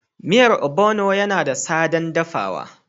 Miyar ogbono yana da sadan dafawa